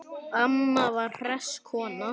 Amma var hress kona.